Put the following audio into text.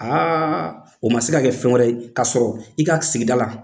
o ma se ka kɛ fɛn wɛrɛ k'a sɔrɔ i ka sigida la.